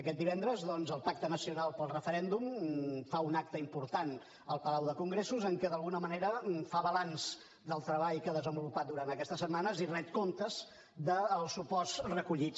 aquest divendres doncs el pacte nacional pel referèndum fa un acte important al palau de congressos en què d’alguna manera fa balanç del treball que ha desenvolupat durant aquestes setmanes i ret comptes dels suports recollits